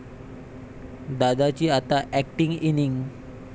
दादाची आता 'acting' innings